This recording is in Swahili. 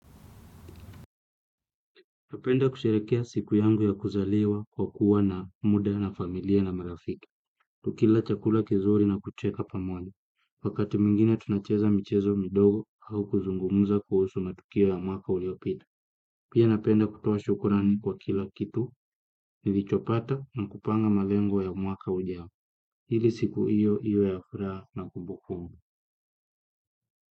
Napenda kusherehekea siku yangu ya kuzaliwa kwa kuwa na muda na familia na marafiki. Tukila chakula kizuri na kucheka pamoja. Wakati mwingine tunacheza michezo midogo au kuzungumza kuhusu matukio ya mwaka uliopita. Pia napenda kutoa shukrani kwa kila kitu nilichopata na kupanga malengo ya mwaka ujao ili siku hiyo iwe ya furaha na kumbukumbu.